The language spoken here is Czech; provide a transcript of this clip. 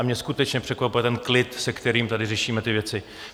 A mě skutečně překvapuje ten klid, se kterým tady řešíme ty věci.